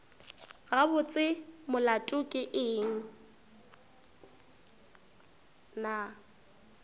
gabotse molato ke eng na